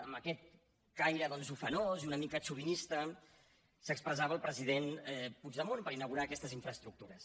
amb aquest caire doncs ufanós i una mica xovinista s’expressava el president puigdemont per inaugurar aquestes infraestructures